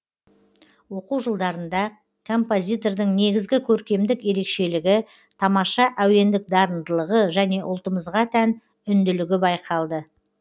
оқу жылдарында композитордың негізгі көркемдік ерекшелігі тамаша әуендік дарындылығы және ұлтымызға тән үнділігі байқалды